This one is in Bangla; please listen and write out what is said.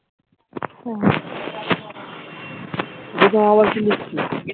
হম